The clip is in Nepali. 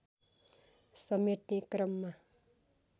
समेट्ने क्रममा